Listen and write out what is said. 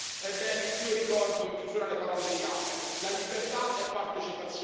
Ebbene, io ricordo, in chiusura, le parole di Giorgio Gaber La libertà è partecipazione.